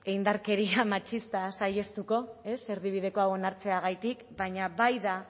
indarkeria matxista saihestuko ez erdibideko hau onartzeagatik baina bai da